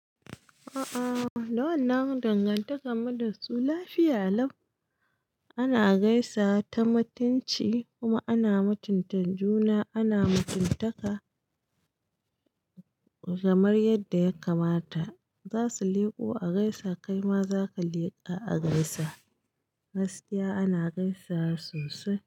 A'a, da wannan dangantakan mu da su lafiya lau. Ana gaisawa ta mutunci kuma ana mutunta juna, ana mutuntaka kamar yadda ya kamata. Zasu leƙo a gaisa, kai ma zaka leƙa a gaisa. Gaskiya ana gaisawa sosai.